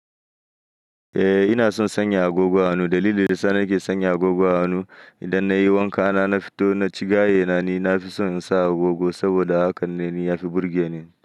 Eh ina son sanya agogo a hanu. Dalilin da yasa na nake sanya agogo a hanu, idan nayi wanka na, na fito na ci gaye na, ni na fi so in sa agogo saboda hakane ni ya fi burge ni.